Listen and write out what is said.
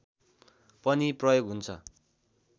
पनि प्रयोग हुन्छ